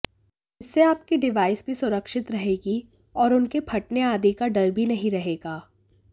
इससे आपकी डिवाइस भी सुरक्षित रहेगी और उनके फटने आदि का डर भी नहीं रहेगा